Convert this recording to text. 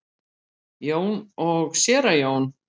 Jón og séra Jón